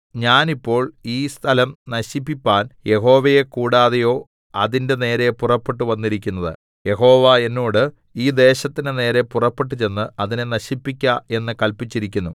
ഞാൻ ഇപ്പോൾ ഈ സ്ഥലം നശിപ്പിപ്പാൻ യഹോവയെ കൂടാതെയോ അതിന്റെ നേരെ പുറപ്പെട്ടു വന്നിരിക്കുന്നത് യഹോവ എന്നോട് ഈ ദേശത്തിന്റെ നേരെ പുറപ്പെട്ടു ചെന്ന് അതിനെ നശിപ്പിക്ക എന്ന് കല്പിച്ചിരിക്കുന്നു